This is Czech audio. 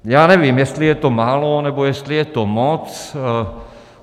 Já nevím, jestli je to málo, nebo jestli je to moc.